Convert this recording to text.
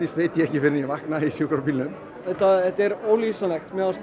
veit ég ekki fyrr en ég vakna í sjúkrabílnum þetta þetta er ólýsanlegt mér fannst